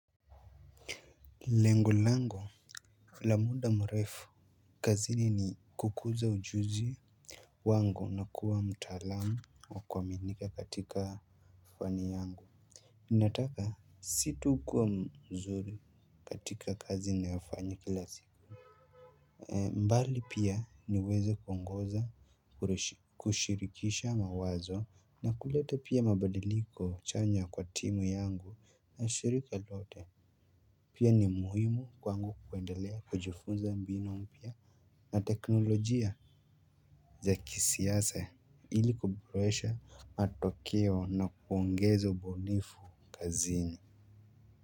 Lengo lango la muda mrefu kazini ni kukuza ujuzi wangu na kuwa mtaalamu wa kuaminika katika fani yangu ninataka si tu kuwa mzuri katika kazi ninayofanya kila siku. Mbali pia niweze kuongoza kushirikisha mawazo na kuleta pia mabadiliko chanya kwa timu yangu na shirika lote. Pia ni muhimu kwangu kuendelea kujifunza mbinu mpya na teknolojia za kisiasa ili kubroesha matokeo na kuongeza ubunifu kazini.